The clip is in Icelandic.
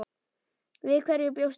Við hverju bjóstu líka?